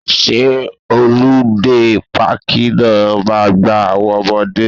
Ṣé họludé páàkì náà ma gba àwọn ọmọdé